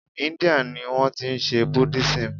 India ni wọ́n ti n se buddhism